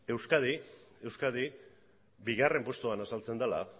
euskadi bigarren postuan azaltzen dela